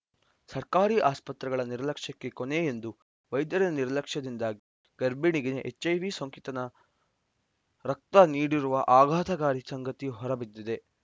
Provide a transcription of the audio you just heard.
ಸರ್ಕಾರಿ ಆಸ್ಪತ್ರೆಗಳ ನಿರ್ಲಕ್ಷ್ಯಕ್ಕೆ ಕೊನೆ ಎಂದು ವೈದ್ಯರ ನಿರ್ಲಕ್ಷದಿಂದಾಗಿ ಗರ್ಬಿಣಿಗೆ ಎಚ್‌ಐವಿ ಸೋಂಕಿತನ ರಕ್ತ ನೀಡಿರುವ ಆಘಾತಕಾರಿ ಸಂಗತಿ ಹೊರಬಿದ್ದಿದೆ